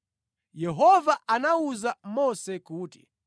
Yehova anawuza Mose kuti,